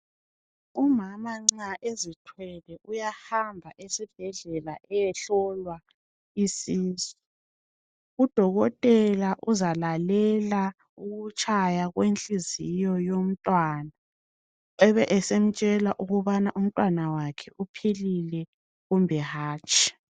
Umama nxa ezithwele uyahamba esibhedlela ukuyahlolwa isisu. UDokotela uzalalela ukutshaya kwenhliziyo uomntwana ebe esemtshela ukubana umntwana wakhe uphilile kumbe hatshi.